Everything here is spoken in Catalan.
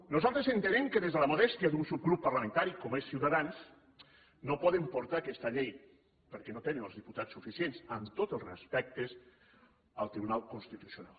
nosaltres entenem que des de la modèstia d’un subgrup parlamentari com és ciutadans no poden portar aquesta llei perquè no tenen els diputats suficients amb tots els respectes al tribunal constitucional